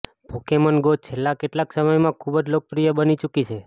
Pokemon Go છેલ્લા કેટલાક સમયમાં ખુબ જ લોકપ્રિય બની ચુકી છે